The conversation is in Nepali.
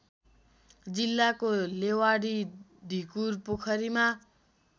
जिल्लाको लेवाडी ढिकुरपोखरीमा